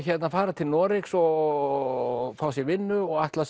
fara til Noregs og fá sér vinnu og ætla